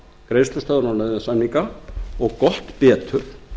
greiðslustöðvunar og nauðasamninga og gott betur